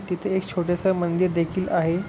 तिथे एक छोटस मंदिर देखील आहे.